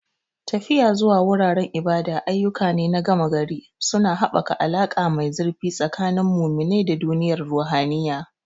Tafiya zuwa wuraren ibada ayyuka ne na gama-gari, suna haɓaka alaƙa mai zurfi tsakanin muminai da duniyar ruhaniya.